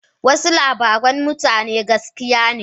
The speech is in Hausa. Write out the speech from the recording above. Wasu labaran mutanen gaskiya ne.